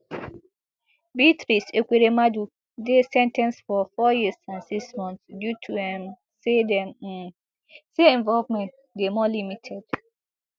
beatrice ekweremadu dey sen ten ced for four years and six months due to um say dem um say involvement dey more limited